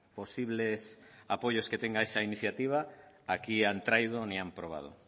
posibles apoyos que tenga esa iniciativa aquí han traído ni han probado